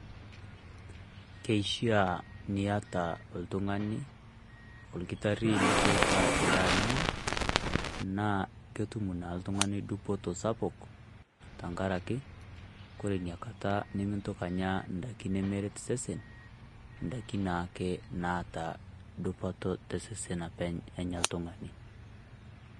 Keshia nieta oltung'ani olkitarri nikiutaa endaa ninya naa ketum naa ltung'ani duputo sapuk, tang'araki kore nia nkaata nimitooki enyaa ndaaki nimereet sesen ndaaki naake naata duputo te sesen apeny' enyaa ltung'ana.